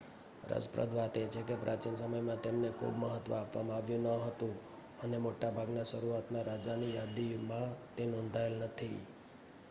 રસપ્રદ વાત એ છે કે પ્રાચીન સમયમાં તેમને ખૂબ મહત્વ આપવામાં આવ્યું ન હતું અને મોટાભાગના શરૂઆતના રાજાની યાદીઓમાં તે નોંધાયેલ નથી